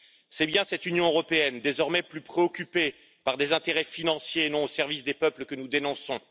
C'est bien cette Union européenne, désormais plus préoccupée par des intérêts financiers et non au service des peuples que nous dénonçons.